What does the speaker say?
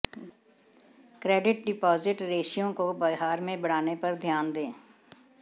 credit deposit ratio को बिहार में बढ़ाने पर ध्यान दे